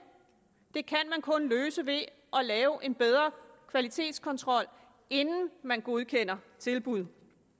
det kan man kun løse ved at lave en bedre kvalitetskontrol inden man godkender tilbud